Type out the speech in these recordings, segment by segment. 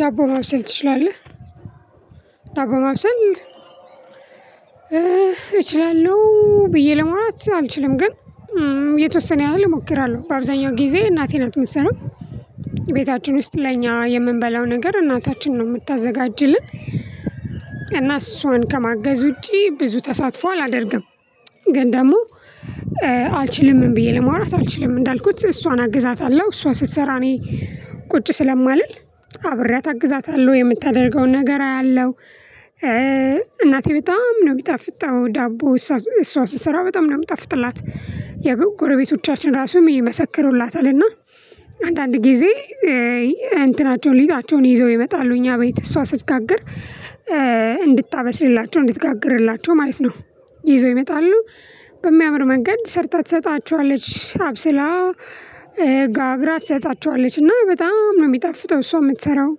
ዳቦ ማብሰል ትችላለህ? ዳቦ ማብሰል እችላለሁ ብዬ ለመውራት አልችልም። ግን የተወሰነ ያህል እሞክራለሁ በአብዛኛው ጊዜ እናቴ ናት የምትሰራው። ቤታችን ውስጥ ለኛ የምንበላው ነገር እናታችን ነው የምታዘጋጅልን። እና እሷን ከማገዝ ውጪ ብዙ ተሳትፎ አላደርግም። ግን ደግሞ አልችልም ብዬ ለማውራት አልችልም እንዳልኩት እሷን አግዛታለሁ። እሷ ስትሰራ እኔ ቁጭ ስለማልል አብሬ አግዛታለሁ የምታደርገውን ነገር አያለሁ። እናቴ በጣም ነው ሚጣፍጣው ዳቦ እሷ ስሰራ በጣም የምጣፍጥላት የጎረቤቶቻችን ራሱም ይመሰክሩላታልና። አንዳንድ ጊዜ እንትናቸውን ሊጣቸውን ይዘው ይመጣሉ እኛ ቤይ እሷ ስትጋግር እንድታበስልላቸው እንድትጋግርላቸው ማለት ነው። ይዘው ይመጣሉ። በሚያምር መንገድ ሰርታ ትሰጣቸዋለች አብስላ ጋግራ ትሰጣቸዋለች። እና በጣም ነው የሚጣፍጠው እሷ የምትሰራው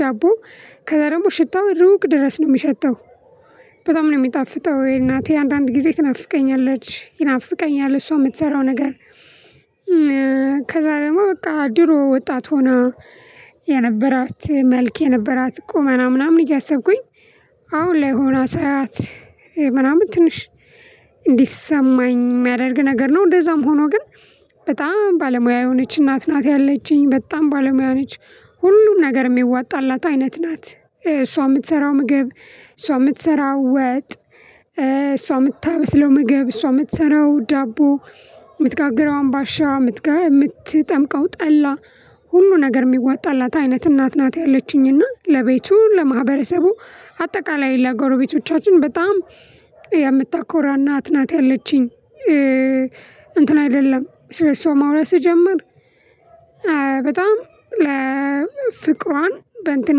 ዳቦ። ከዛ ደግሞ ሽታው ሩቅ ድረስ ነው የሚሸተው። በጣም ነው የሚጣፍጠው እናቴ አንዳንድ ጊዜ ትናፍቀኛለች ይናፍቀኛል እሷ የምትሰራው ነገር። ከዛ ደግሞ በቃ ድሮ ወጣት ሆና የነበራት መልክ የነበራት ቁመና ምናምን እያሰብኩኝ አሁን ላይ ሆና ሳያት። ምናምን ትንሽ እንዲሰማኝ የሚያደርግ ነገር ነው እንደዛም ሆኖ ግን በጣም ባለሙያ የሆነች እናት ናት ያለችኝ በጣም ባለሙያ ነች። ሁሉም ነገር የሚዋጣላት አይነት ናት እሷ የምትሰራው ምግብ እሷ የምትሰራው ወጥ። እሷ የምታበስለው ምግብ እሷ የምትሰራው ዳቦ የምትጋግረው አምባሻ የምትጠምቀው ጠላ ሁሉ ነገር የሚዋጣላት አይነት እናት ናት። ያለችኝና ለቤቱ ለማህበረሰቡ አጠቃላይ ለጎረቤቶቻችን በጣም የምታኮራና አትናት ያለችኝ። እንትን አይደለም ስለሱ ማውራት ስጀምር በጣም ለፍቅሯን በእንትን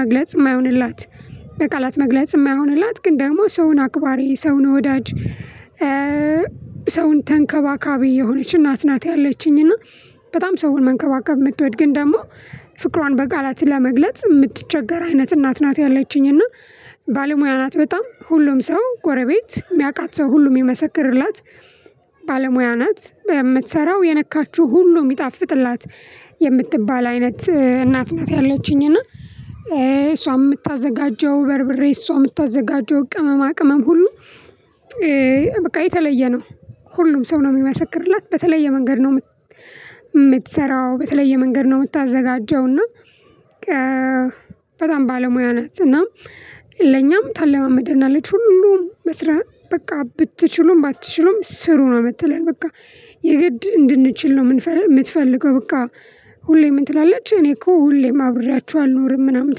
መግለጽ የማይሆንላት በቃላት መግለጽ የማይሆንላት ግን ደግሞ ሰውን አክባሪ ሰውን ወዳጅ። ሰውን ተንከባካቢ የሆነች እናት ናት ያለችኝ። እና በጣም ሰውን መንከባከብ የምትወድ ግን ደግሞ ፍቅሯን በቃላት ለመግለጽ የምትቸገር አይነት እናት ናት ያለችኝ። እና ባለሙያ ናት በጣም ሁሉም ሰው ጎረቤት የሚያቃት ሰው ሁሉም የሚመሰክርላት። ባለሙያ ናት በምትሰራው የነካችው ሁሉ የሚጣፍጥላት የምትባል አይነት እናት ናት ያለችኝ። እና እሷ የምታዘጋጀው በርብሬ እሷ የምታዘጋጀው ቅመማ ቅመም ሁሉ በቃ የተለየ ነው። ሁሉም ሰው ነው የሚመሰክርላት በተለየ መንገድ ነው። የምትሰራው በተለየ መንገድ ነው የምታዘጋጀው እና በጣም ባለሙያ ናት። እና ለኛም ታለማመደናለች ሁሉም መስራት በቃ ብትችሉም ባትችሉም ስሩ ነው የምትለኝ በቃ የገድ እንድንችል ነው የምትፈልገው። በቃ ሁሌም ትላለች እኔ እኮ ሁሌም አብሬያችሁ አልኖርም ምናምን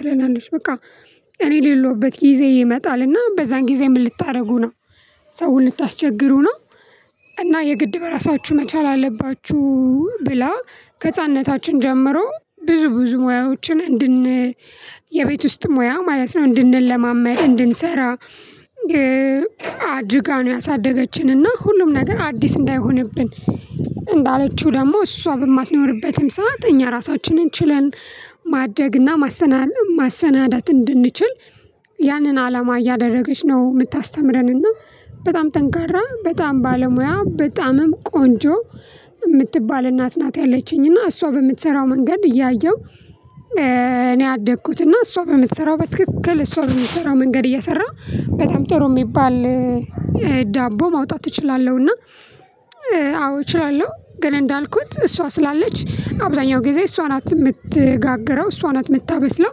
ትለናለች። በቃ እኔ የሌለሁበት ጊዜ ይመጣል እና በዛን ጊዜ ምን ልታደርጉ ነው? ሰውን ልንታስቸግሩ ነው? እና የግድ በራሳችሁን መቻል አለባችሁ። ብላ ከህፃንነታችን ጀምሮ ብዙ ብዙ ሙያዎችን የቤት ውስጥ ሙያ ማለት ነው እንድንለ ማመድ እንድንሰራ። አድርጋ ነው ያሳደገችን እና ሁሉም ነገር አዲስ እንዳይሆንብን። እንዳለችው ደግሞ እሷ በማትኖርበትም ሰዓት እኛ ራሳችንን ችለን። ማድረግና ማሰናዳት እንድንችል ያንን አላማ እያደረገች ነው የምታስተምረንና። በጣም ጠንካራ በጣም ባለሙያ በጣምም ቆንጆ የምትባል እናት ናት ያለችኝ። እና እሷ በምትሰራው መንገድ እያየሁ። እኔ አደኩት እና እሷ በምትሰራው በትክክል እሷ በምትሰራው መንገድ እየሰራ በጣም ጥሩ የሚባል ዳቦ ማውጣት እችላለሁና። አዎ እችላለሁ ግን እንዳልኩት እሷ ስላለች አብዛኛው ጊዜ እሷ ናት የምትጋግረው እሷ ናት የምታበስለው።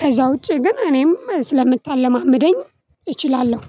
ከዛ ውጪ ግን እኔም ስለምታለማምደኝ እችላለሁ።